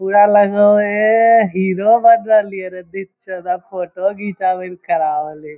पुरा लगे हेय एह हीरो बएन रहली ये रे फोटो घिचावे ले खड़ा होलही l